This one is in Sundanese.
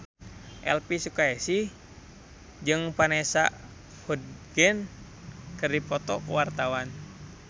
Elvi Sukaesih jeung Vanessa Hudgens keur dipoto ku wartawan